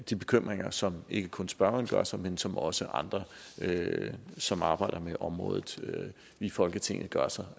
de bekymringer som ikke kun spørgeren gør sig men som også andre som arbejder med området i folketinget gør sig